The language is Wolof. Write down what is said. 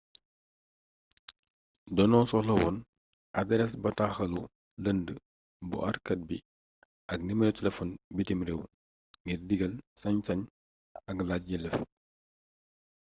doño soxla wone adarees bataaxalu lënd bu aarkaat bi ak nimero telefon bitim réew ngir digal/sañ-sañ ak laaj yelleef